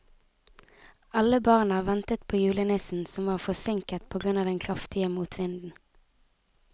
Alle barna ventet på julenissen, som var forsinket på grunn av den kraftige motvinden.